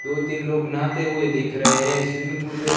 दो तीन लोग नहाते हुए दिख रहे है स्विमिंग पुल पे--